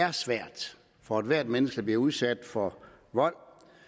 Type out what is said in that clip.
er svært for ethvert menneske der bliver udsat for vold